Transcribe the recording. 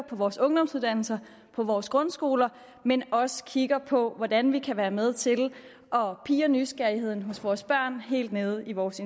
vores ungdomsuddannelser på vores grundskoler men også kigge på hvordan vi kan være med til at pirre nysgerrigheden hos vores børn helt nede i vores